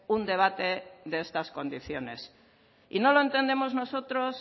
un debate de estas condiciones y no lo entendemos nosotros